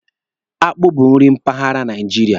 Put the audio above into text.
Akpụ bụ nri mpaghara Naijiria.